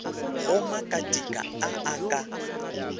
go makatika a a ka